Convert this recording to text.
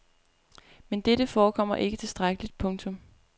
Men dette forekommer ikke tilstrækkeligt. punktum